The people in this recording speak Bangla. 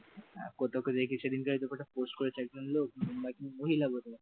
কত করে সেদিনকে একজন post করেছে একজনলোক বা মহিলা বলতে পারিস,